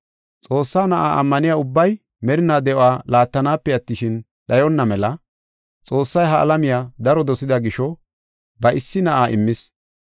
Xoossaa Na7aa ammaniya ubbay merinaa de7uwa laattanaape attishin, dhayonna mela Xoossay ha alamiya daro dosida gisho ba issi Na7aa immis.